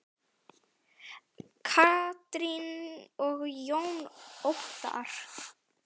Katrín og Jón Óttarr.